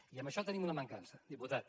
i amb això tenim una mancança diputat